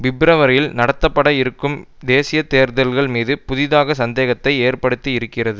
பிப்ரவரியில் நடத்தப்பட இருக்கும் தேசிய தேர்தல்கள் மீது புதிதாக சந்தேகத்தை ஏற்படுத்தி இருக்கிறது